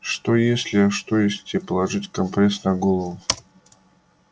что если а что если тебе положить компресс на голову